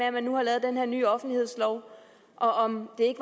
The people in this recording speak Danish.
at man nu har lavet den her nye offentlighedslov og om det